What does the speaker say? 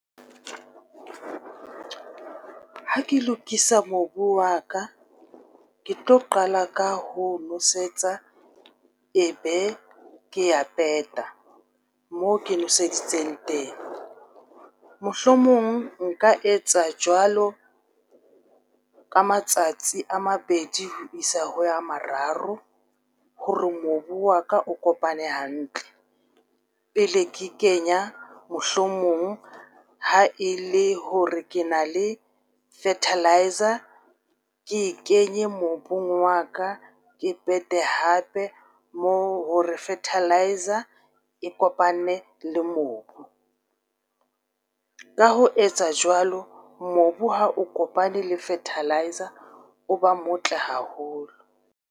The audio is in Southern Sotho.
Ha ke lokisa mobu wa ka, ke tlo qala ka ho nosetsa, e be ke ya peta mo ke nweseditse itseng teng. Mohlomong nka etsa jwalo ka matsatsi a mabedi ho isa ho ya mararo hore mobu wa ka o kopane hantle, pele ke kenya mohlomong ha e le hore ke na le fertiliser, ke kenye mobung wa ka, ke pete hape moo hore fertiliser e kopane le mobu. Ka ho etsa jwalo, mobu ha o kopane le fertiliser, o ba motle haholo.